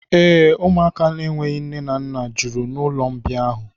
Ee, ụmụaka enweghị nne ma mma juru n'ụlọmbịa ahụ.